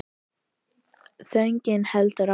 Þögnin heldur áfram.